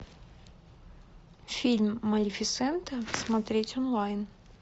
фильм малефисента смотреть онлайн